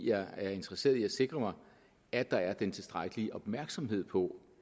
er interesseret i at sikre mig at der er den tilstrækkelige opmærksomhed på